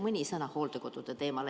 Mõni sõna hooldekodude teemal.